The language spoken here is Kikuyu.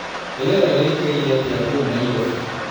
Rĩera rĩĩkaĩre atĩa kũũ Nairobi